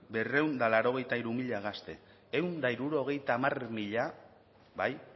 berrehun eta laurogeita hiru mila gazte ehun eta hirurogeita hamar mila bai